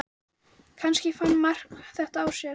Kannski fann Mark þetta á sér.